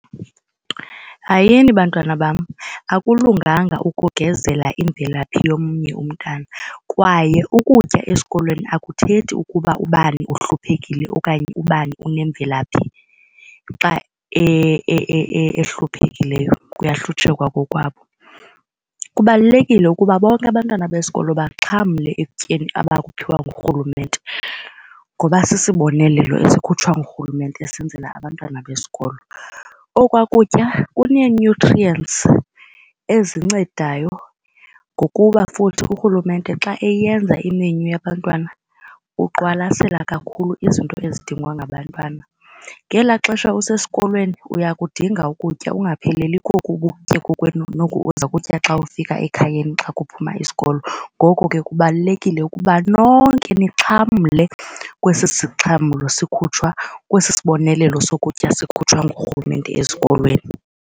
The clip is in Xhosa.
Hayini bantwana bam. Akulunganga ukugezela imvelaphi yomnye umntana kwaye ukutya esikolweni akuthethi ukuba ubani uhluphekile okanye ubani unemvelaphi xa ehluphekileyo kuyahlutshekwa kokwabo. Kubalulekile ukuba bonke abantwana besikolo baxhamle ekutyeni abakuphiwa nguRhulumente ngoba sisibonelelo esikhutshwa nguRhulumente esenzela abantwana besikolo. Okwa kutya kunee-nutrients ezincedayo ngokuba futhi uRhulumente xa eyenza imenyu yabantwana uqwalasela kakhulu izinto ezidingwa ngabantwana. Ngelaa xesha usesikolweni uyakudinga ukutya ungapheleli koku ubukutye kokwenu noku uzokutya xa ufika ekhayeni xa kuphuma isikolo. Ngoko ke kubalulekile ukuba nonke nixhamle kwesi sixhamlo sikhutshwa kwesi sibonelelo sokutya sikhutshwa nguRhulumente ezikolweni.